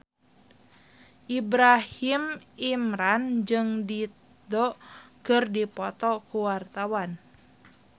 Ibrahim Imran jeung Dido keur dipoto ku wartawan